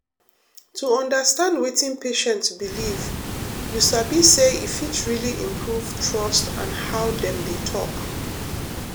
to understand wetin patient believe you sabi say e fit really improve trust and how dem dey talk.